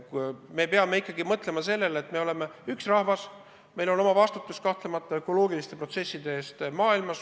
Me peame ikkagi mõtlema sellele, et me oleme üks rahvas, kel on kanda oma vastutus ökoloogiliste protsesside eest maailmas.